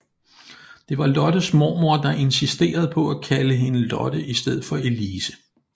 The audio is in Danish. Det var Lottes mormor der insisterede på at kalde hende Lotte i stedet for Elise